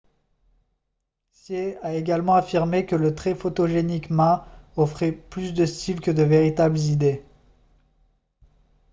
hsieh a également affirmé que le très photogénique ma offrait plus de style que de véritables idées